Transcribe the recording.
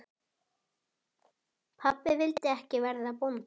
Pabbi vildi ekki verða bóndi.